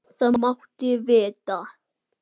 Það máttu vita.